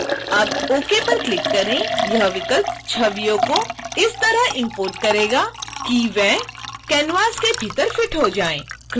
अब ok पर click करें यह विकल्प छवियों को इस तरह इम्पोर्ट करेगा कि वे canvas के भीतर फिट हो जाएँ